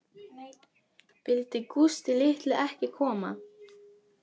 Vildi Gústi litli ekki koma